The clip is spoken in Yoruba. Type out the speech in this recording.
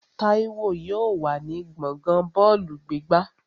Táíwò yóò wà ní gbọ̀ngán bọ́ọ̀lù gbígbá